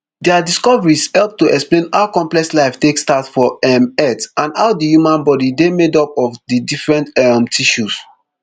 dia discoveries help to explain how complex life take start for um earth and how di human body dey made up of di different um tissues